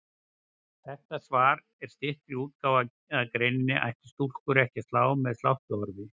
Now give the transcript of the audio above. Þetta svar er stytt útgáfa af greininni Ættu stúlkur ekki að slá með sláttuorfi?